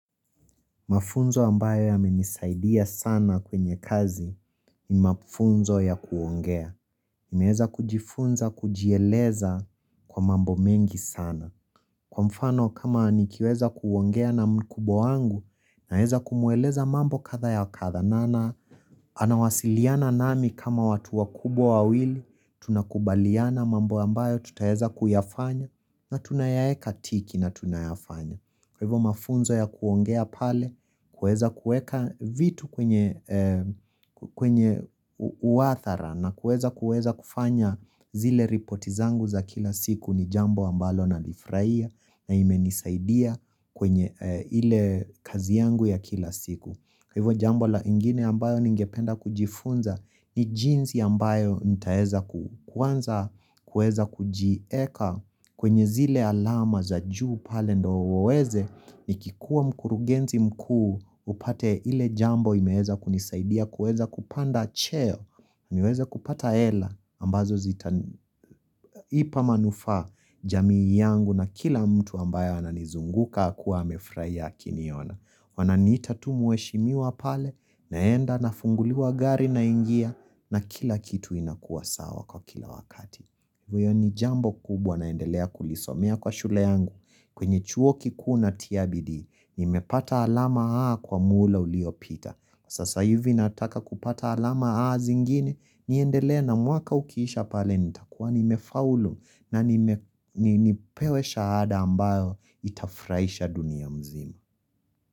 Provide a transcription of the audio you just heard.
Mafunzo ambayo yamenisaidia sana kwenye kazi ni mafunzo ya kuongea. Nimeeza kujifunza, kujieleza kwa mambo mengi sana. Kwa mfano kama anikiweza kuongea na mkubwa wangu, naeza kumueleza mambo katha ya katha. Na na anawasiliana nami kama watu wakubwa wawili, tunakubaliana mambo ambayo tutaeza kuyafanya na tunayaye katiki na tunayafanya. Kwa hivyo mafunzo ya kuongea pale, kueza kueka vitu kwenye uathara na kueza kufanya zile ripoti zangu za kila siku ni jambo ambalo nalifuraia na imenisaidia kwenye ile kazi yangu ya kila siku. Hivo jambo la ingine ambayo ningependa kujifunza ni jinsi ambayo nitaeza kuanza kueza kuji eka kwenye zile alama za juu pale ndo weweze ni kikuwa mkurugenzi mkuu upate ile jambo imeeza kunisaidia kueza kupanda cheo niweza kupata hela ambazo zipa manufa jamii yangu na kila mtu ambayo ananizunguka kuwa hamefurahia kini ona. Wananita tu mweshimiwa pale, naenda na funguliwa gari na ingia na kila kitu inakuwa sawa kwa kila wakati Vyo ni jambo kubwa naendelea kulisomea kwa shule yangu kwenye chuo kikuna tia bidii, ni mepata alama A kwa mula uliopita Sasa hivi nataka kupata alama A zingine, niendelea na mwaka ukiisha pale nitakuwa ni mefaulu na nipewe shahada ambayo itafraisha dunia mzima.